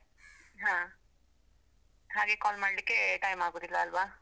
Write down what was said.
ಹಾ, ಹಾಗೆ call ಮಾಡ್ಲಿಕ್ಕೇ time ಆಗುದಿಲ್ಲ ಅಲ್ವಾ?